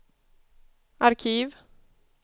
arkiv